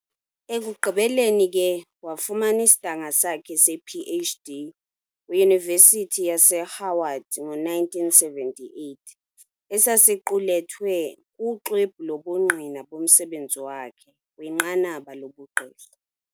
Ekugqibeleni ke wafumana isidanga sakhe sePh.D. kwiYunivesithi yaseHoward ngo-1978, esasiqulethwe kuxwebhu lobungqina bomsebenzi wakhe kwinqanaba lobugqirha